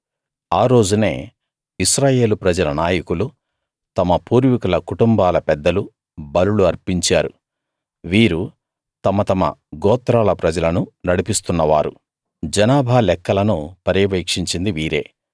ఆ రోజునే ఇశ్రాయేలు ప్రజల నాయకులు తమ పూర్వీకుల కుటుంబాల పెద్దలు బలులు అర్పించారు వీరు తమ తమ గోత్రాల ప్రజలను నడిపిస్తున్నవారు జనాభా లెక్కలను పర్యవేక్షించింది వీరే